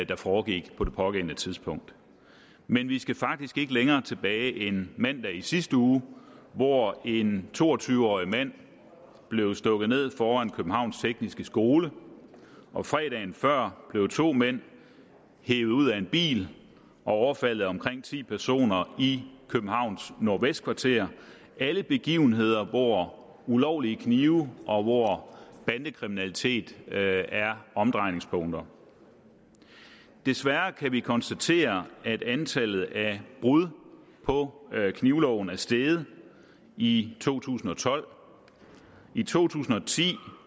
der foregik på det pågældende tidspunkt men vi skal faktisk ikke længere tilbage end mandag i sidste uge hvor en to og tyve årig mand blev stukket ned foran københavns tekniske skole og fredagen før blev to mænd hevet ud af en bil og overfaldet af omkring ti personer i københavns nordvestkvarter det er alle begivenheder hvor ulovlige knive og hvor bandekriminalitet er omdrejningspunktet desværre kan vi konstatere at antallet af brud på knivloven er steget i to tusind og tolv i to tusind og ti